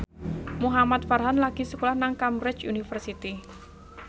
Muhamad Farhan lagi sekolah nang Cambridge University